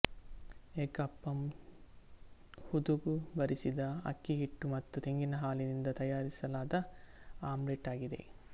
egg appam ಹುದುಗು ಬರಿಸಿದ ಅಕ್ಕಿ ಹಿಟ್ಟು ಮತ್ತು ತೆಂಗಿನ ಹಾಲಿನಿಂದ ತಯಾರಿಸಲಾದ ಆಮ್ಲೆಟ್ ಆಗಿದೆ